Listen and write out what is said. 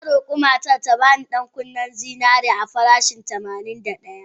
Na roka matan ta bani ƴan-kunin zinarin a farashin tamanin da daya.